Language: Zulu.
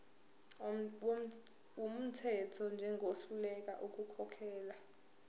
wumthetho njengohluleka ukukhokhela